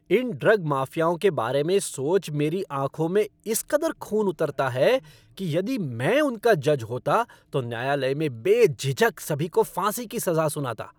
इन drug माफ़ियाओं के बारे में सोच मेरी आँखों में इस कदर खून उतरता है कि यदि मैं उनका जज होता तो न्यायालय में बेझिझक सभी को फांसी की सज़ा सुनाता।